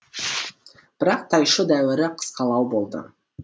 бірақ тайшо дәуірі қысқалау болды